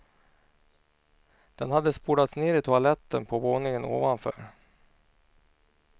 Den hade spolats ner i toaletten på våningen ovanför.